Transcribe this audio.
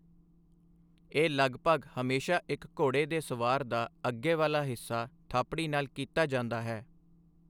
ਇਹ ਲਗਭਗ ਹਮੇਸ਼ਾ ਇੱਕ ਘੋੜੇ ਦੇ ਸਵਾਰ ਦਾ ਅੱਗੇ ਵਾਲਾ ਹਿੱਸਾ ਥਾਪੜੀ ਨਾਲ ਕੀਤਾ ਜਾਂਦਾ ਹੈ।